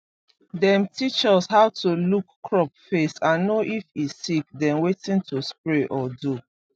dem teach us how to look crop face and know if e sick then wetin to spray or do